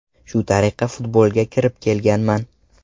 Shu tariqa futbolga kirib kelganman.